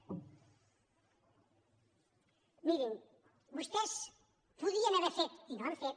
mirin vostès podien haver fet i no ho han fet